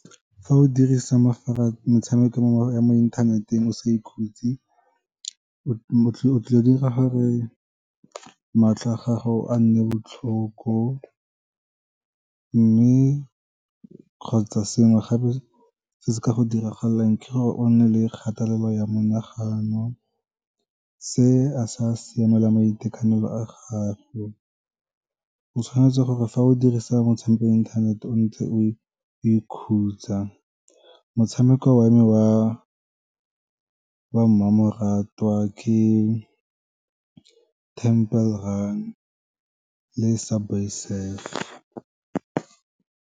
Fa o dirisa metshameko ya mo inthaneteng o sa ikhutse, o tlile go dira gore matlho a gago a nne botlhoko, mme kgotsa sengwe gape se se ka go diragalelang ke gore o nne le kgatelelo ya monagano. Se a sa siamela maitekanelo a gago, o tshwanetse gore fa o dirisa motshameko wa inthanete o ntse o ikhutsa, motshameko wa me wa mmamoratwa ke Temple Run le Subway Surf.